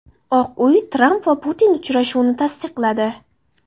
Oq uy Tramp va Putin uchrashuvini tasdiqladi.